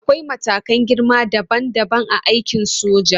Akwai matakan girma dabam dabam a aikin soja.